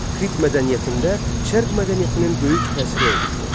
Krit mədəniyyətində Şərq mədəniyyətinin böyük təsiri olmuşdur.